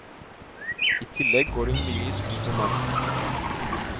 I tillegg går hun mye i skog og mark.